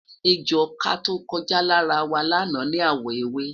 ẹjọ ọkà tọko já lára wa lana ni awọ ewé